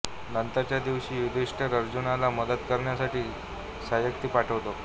नंतरच्या दिवशी युधिष्ठिर अर्जुनाला मदत करण्यासाठी सात्यकी पाठवतो